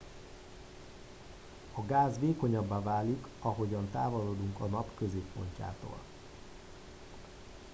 a gáz vékonyabbá válik ahogy távolodunk a nap középpontjától